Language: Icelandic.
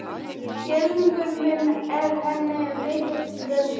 Skilningur minn er henni mikils virði.